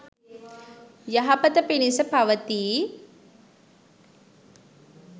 යහපත පිණිස පවතියි